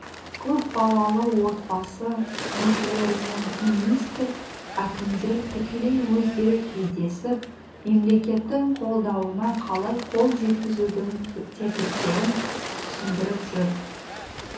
көпбалалы отбасы мүшелерімен министр әкімдер тікелей өздері кездесіп мемлекеттің қолдауына қалай қол жеткізудің тетіктерін түсіндіріп жүр